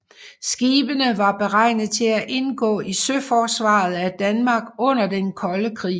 Skibene var beregnet til at indgå i søforsvaret af Danmark under den Kolde Krig